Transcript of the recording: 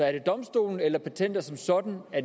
er det domstolen eller patenter som sådan